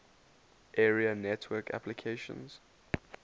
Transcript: area network applications